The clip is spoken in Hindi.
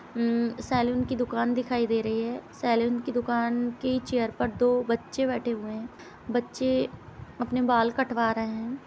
सेलून की दुकान दिखाई दे रही है सेलून की दुकान की चेयर पर दो बच्चे बैठे हुए हैं बच्चे अपने बाल कटवा रहे हैं।